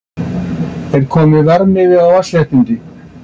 Er kominn verðmiði á vatnsréttindi?